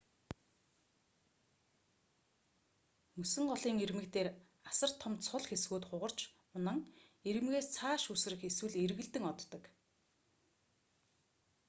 мөсөн голын ирмэг дээр асар том цул хэсгүүд хугарч унан ирмэгээс цааш үсрэх эсвэл эргэлдэн оддог